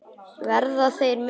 Verða þeir með?